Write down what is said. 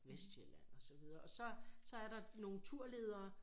Vestsjælland og så videre og så så er der nogen turledere